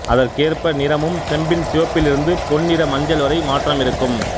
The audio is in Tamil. அதற்கேற்ப நிறமும் செம்பின் சிவப்பிலிருந்து பொன்னிற மஞ்சள் வரை மாற்றமிருக்கும்